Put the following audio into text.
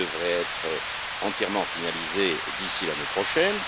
Il devrait être entièrement finalisé d'ici l'année prochaine.